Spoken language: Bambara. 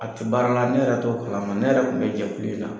A ti baara la, ne yɛrɛ t'o kalama, ne yɛrɛ tun bɛ jɛkulu in na